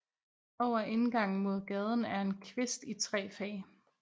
Over indgangen mod gaden er en kvist i tre fag